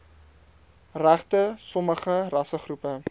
regte sommige rassegroepe